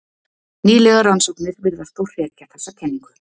Nýlegar rannsóknir virðast þó hrekja þessa kenningu.